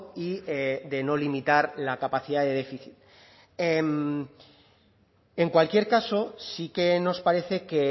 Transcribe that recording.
y de no limitar la capacidad de déficit en cualquier caso sí que nos parece que